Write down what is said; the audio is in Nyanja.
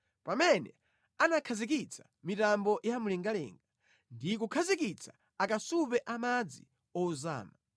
pamene anakhazikitsa mitambo ya mlengalenga ndi kukhazikitsa akasupe a madzi ozama,